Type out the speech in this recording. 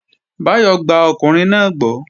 Báyọ̀ gba ọkùnrin náà gbọ́